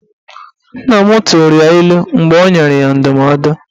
Nna m tụrụ ya ilu mgbe ọ nyere ya ndụmọdụ